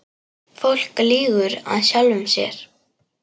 Fólk lýgur að sjálfu sér.